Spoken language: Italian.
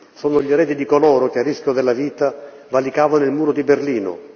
Sono gli eredi di coloro che, a rischio della vita, valicavano il Muro di Berlino